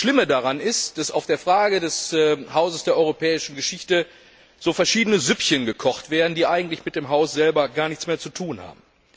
Das Schlimme daran ist, dass in der Frage des Hauses der Europäischen Geschichte so verschiedene Süppchen gekocht werden, die eigentlich mit dem Haus selber gar nichts mehr zu tun haben.